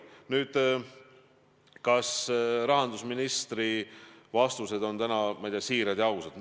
Nüüd, kas rahandusministri vastused on täna olnud siirad ja ausad?